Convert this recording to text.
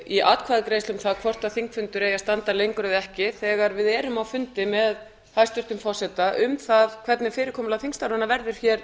í atkvæðagreiðslu um það hvort þingfundur eigi að standa lengur eða ekki þegar við erum á fundi með hæstvirtum forseta um það hvernig fyrirkomulag þingstarfanna verður hér